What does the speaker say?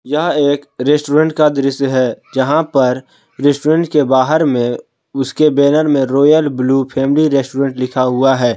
यह एक रेस्टोरेंट का दृश्य है जहां पर रेस्टोरेंट के बाहर में उसके बैनर में रॉयल ब्लू फैमिली रेस्टोरेंट लिखा हुआ है।